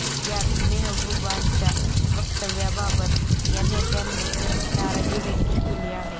यात मेहबूबांच्या वक्तव्याबाबत या नेत्यानी नाराजी व्यक्त केली आहे